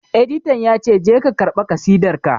Editan ya ce 'Je ka karɓa kasidar ka'!